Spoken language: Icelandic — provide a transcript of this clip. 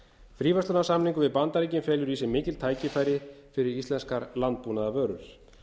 fríverslunarsamningur við bandaríkin felur í sér mikil tækifæri fyrir íslenskar landbúnaðarvörur